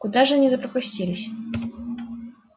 куда же они запропастились